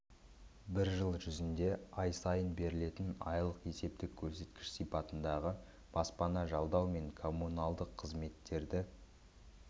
бір жыл жүзінде ай сайын берілетін айлық есептік көрсеткіш сипатындағы баспана жалдау мен коммуналдық қызметтерді